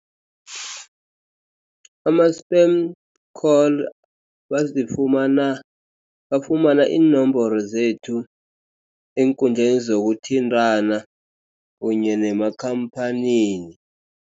Ama-spam call bazifumana bafumana iinomboro zethu eenkundleni zokuthintana kunye nemakhamphanini.